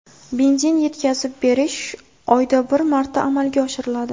Benzin yetkazib berish oyda bir marta amalga oshiriladi.